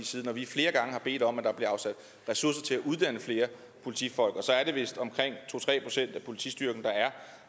side når vi flere gange har bedt om at der blev afsat ressourcer til at uddanne flere politifolk og så er det vist omkring to tre procent af politistyrken der er